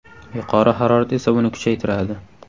Yuqori harorat esa buni kuchaytiradi.